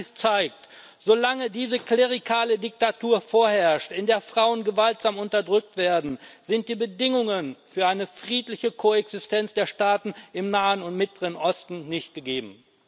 All dies zeigt Solange diese klerikale Diktatur vorherrscht, in der Frauen gewaltsam unterdrückt werden, sind die Bedingungen für eine friedliche Koexistenz der Staaten im Nahen und Mittleren Osten nicht gegeben.